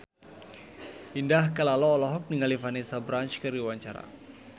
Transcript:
Indah Kalalo olohok ningali Vanessa Branch keur diwawancara